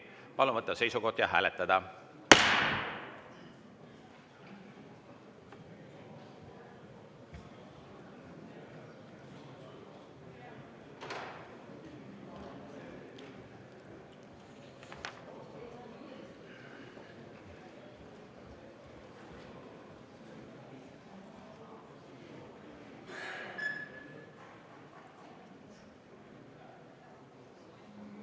Palun võtta seisukoht ja hääletada!